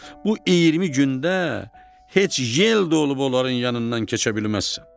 Bu 20 gündə heç yel də olub onların yanından keçə bilməzsən.